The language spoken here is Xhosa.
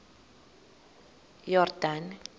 yordane